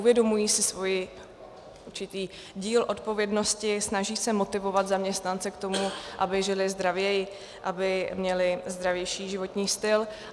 Uvědomují si svůj určitý díl odpovědnosti, snaží se motivovat zaměstnance k tomu, aby žili zdravěji, aby měli zdravější životní styl.